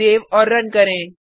save और run करें